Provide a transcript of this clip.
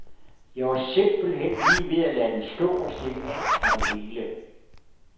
Jeg var simpelt hen lige ved at lade den stå og stikke af fra det hele.